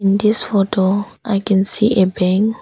In this photo I can see a bank.